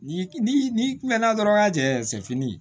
Ni ni mɛnna dɔrɔn ka jɛ sɛfini